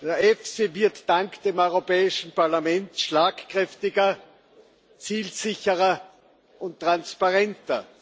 Der EFSI wird dank des Europäischen Parlaments schlagkräftiger, zielsicherer und transparenter.